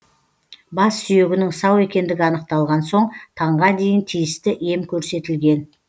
бас сүйегінің сау екендігі анықталған соң таңға дейін тиісті ем көрсетілген